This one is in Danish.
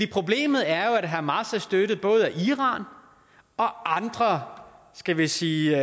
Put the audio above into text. problemet er jo at hamas er støttet af både iran og andre skal vi sige